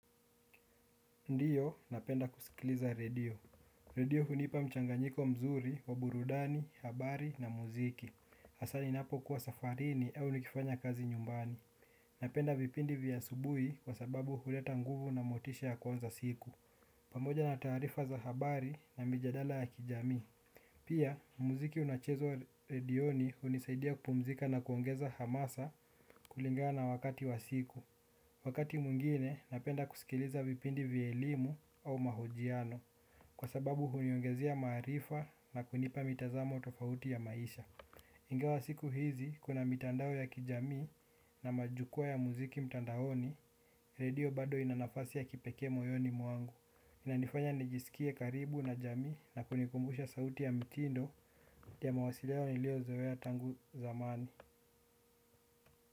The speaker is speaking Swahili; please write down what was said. Ndiyo, napenda kusikiliza redio. Redio hunipa mchanganyiko mzuri wa burudani, habari na muziki. Hasa ninapo kuwa safarini au nikifanya kazi nyumbani. Napenda vipindi vya asubuhi kwa sababu huleta nguvu na motisha ya kwanza siku. Pamoja na taarifa za habari na mijadala ya kijamii. Pia, muziki unachezwa wa redioni hunisaidia kupumzika na kuongeza hamasa kulingana wakati wa siku. Wakati mwingine, napenda kusikiliza vipindi vya elimu au mahojiano kwa sababu huniongezea maarifa na kunipa mitazamo tofauti ya maisha. Ingawa siku hizi, kuna mitandao ya kijamii na majukwa ya muziki mtandaoni, redio bado ina nafasi ya kipekee moyoni mwangu. Inanifanya nijisikie karibu na jamii na kunikumbusha sauti ya mtindo ya mawasiliano niliozoea tangu zamani.